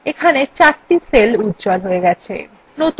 এখানে চারটি cells উজ্জ্বল হয়েছে